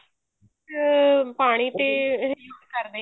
ਅਮ ਪਾਣੀ ਤੇ use ਕਰ